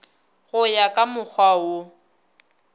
go ya ka mokgwa wo